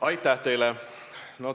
Aitäh teile!